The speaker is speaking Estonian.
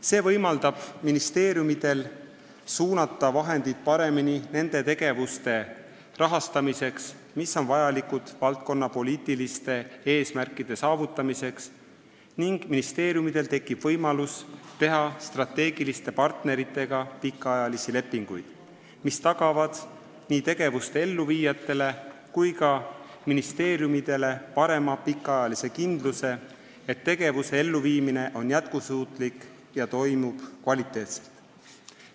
See võimaldab ministeeriumidel suunata vahendeid paremini nende tegevuste rahastamiseks, mis on vajalikud valdkonnapoliitiliste eesmärkide saavutamiseks, ning ministeeriumidel tekib võimalus teha strateegiliste partneritega pikaajalisi lepinguid, mis tagavad nii tegevuste elluviijatele kui ka ministeeriumidele suurema pikaajalise kindluse, et tegevuste elluviimine on jätkusuutlik ja toimub kvaliteetselt.